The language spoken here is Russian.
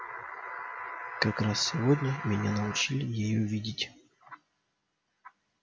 как раз сегодня меня научили её видеть